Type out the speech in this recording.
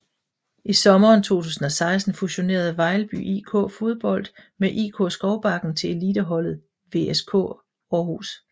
I sommeren 2016 fusionerede Vejlby IK Fodbold med IK Skovbakken til eliteholdet VSK Aarhus